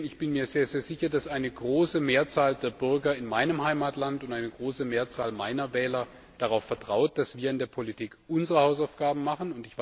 Ich bin mir sehr sicher, dass eine große Mehrzahl der Bürger in meinem Heimatland und eine große Mehrzahl meiner Wähler darauf vertraut, dass wir in der Politik unsere Hausaufgaben machen.